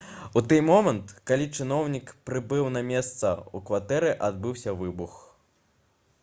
у тый момант калі чыноўнік прыбыў на месца у кватэры адбыўся выбух